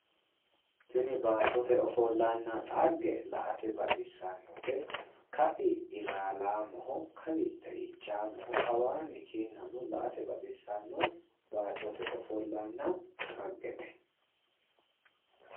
Tini baattote ofollanna xagge la"ate baxissannote ka'i ilaalaamoho kawi xeichaamoho kawaanni kinna no la"ate baxissanno baattote ofollanna dhaggete